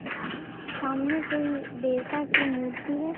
सामने कोई देवता की मूर्ति है।